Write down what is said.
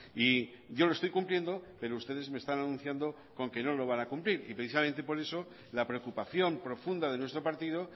y yo lo estoy cumpliendo pero ustedes me están anunciando con que no lo van a cumplir y precisamente por eso la preocupación profunda de nuestro partido